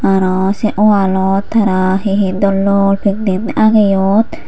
arow sey wall ot tara hi hi dol dol pending ageyon.